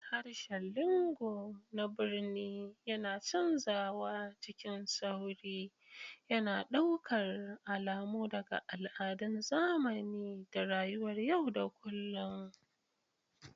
Harshen lingo na birni yana canzawa cikin sauri, yana ɗaukar alamu daga al'adun zamani da rayuwar yau da kullun.